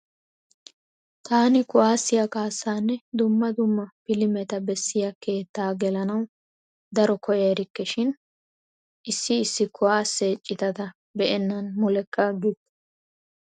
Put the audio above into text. Taani kuwaassiya kaassaanne dumma dumma pilimeta bessiya keettaa gelanawu daro koyya erikke. Shin issi issi kuwaasse citata be'ennan mulekka aggikke.